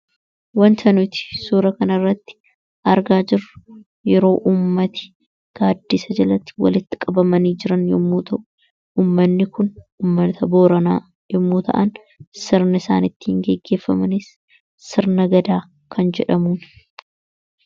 Wanta nuti suura kanarratti argaa jiru yeroo ummattani gaaddisa jalati walitti qabamanii jiran ummanni kun yommuu ta'an. Sirni isaanittiin geeggeeffamanis sirna gadaa kan jedhamuudha.